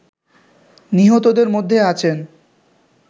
নিহতদের মধ্যে আছেন